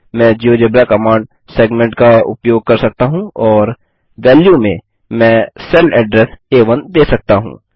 मैं GeoGebra command segment का उपयोग कर सकता हूँ और वेल्यू में मैं सेल एड्रेस आ1 दे सकता हूँ